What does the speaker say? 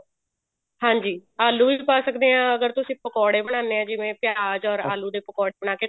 ਹਾਂਜੀ ਆਲੂ ਵੀ ਪਾ ਸਕਦੇ ਹਾਂ ਅਗਰ ਤੁਸੀਂ ਪਕੋੜੇ ਬਣਾਉਂਦੇ ਆਂ ਜਿਵੇਂ ਪਿਆਜ or ਆਲੂ ਏ ਪਕੋੜੇ ਬਣਾ ਕੇ